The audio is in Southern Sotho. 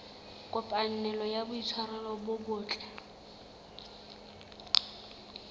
kopanelo ya boitshwaro bo botle